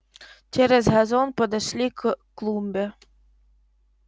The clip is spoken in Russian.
через газон подошли к клумбе